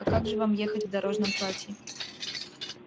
а как же вам ехать в дорожном платье